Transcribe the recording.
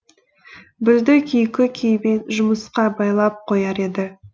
бізді күйкі күйбең жұмысқа байлап қояр еді